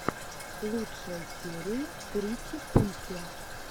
лучшая серия тритипульки